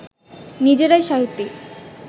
নিজেরাই সাহিত্যিক